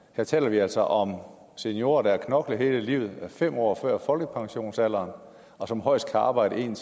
her taler vi altså om seniorer der har knoklet hele livet er fem år fra folkepensionsalderen og som højst kan arbejde en